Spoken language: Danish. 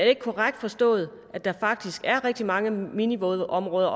ikke korrekt forstået at der faktisk er rigtig mange minivådområder